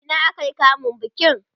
a Ina aka yi kamun bikin su?